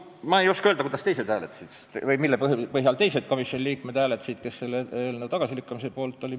Ma ei oska öelda, kuidas teised hääletasid või mille põhjal teised komisjoni liikmed hääletasid, kes selle eelnõu tagasilükkamise poolt olid.